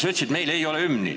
Sa ütlesid, et meil ei ole hümni.